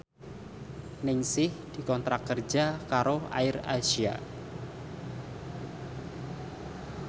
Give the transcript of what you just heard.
Ningsih dikontrak kerja karo AirAsia